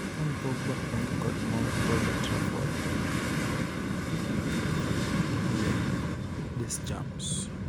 Paul Pogba 'onge kod mor' Old Trafford:Didier Deschamps